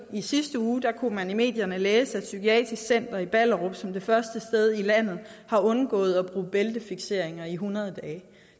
i sidste uge kunne man i medierne læse at psykiatrisk center ballerup som det første sted i landet har undgået at bruge bæltefikseringer i hundrede dage